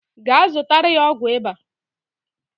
Gaa zụtara ya ọgwụ ịba